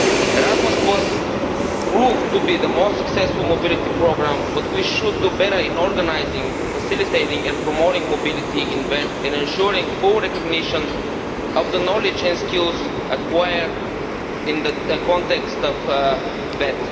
Erasmus proved to be the most successful mobility programme, but we should do better in organising, facilitating and promoting mobility in VET and ensuring full recognition of the knowledge and skills acquired in the context of VET.